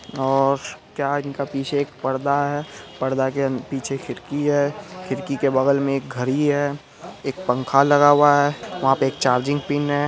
और क्या इनका पीछे एक पर्दा है पर्दा के पीछे खिड़की हैं खिड़की के बगल मे एक घड़ी है एक पंखा लगा हुआ है वहां पे एक चार्जिंग पिन हैं।